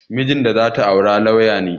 Mijin da za ta aura lauya ne